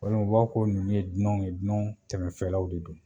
O la u b'a fɔ ninnu ye gunɔw ye gunɔ tɛmɛnfɛlaw de don